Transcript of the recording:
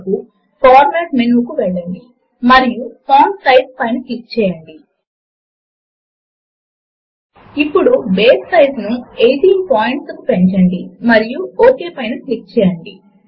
ఇప్పుడు formula editor లోని మొదటి ప్లేస్ హోల్డర్ ను దానిని డబుల్ క్లిక్ చేయడము ద్వారా హైలైట్ చేయండి మరియు 4 అని టైప్ చేయండి